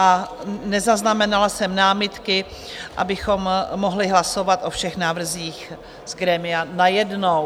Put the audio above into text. a nezaznamenala jsem námitky, abychom mohli hlasovat o všech návrzích z grémia najednou.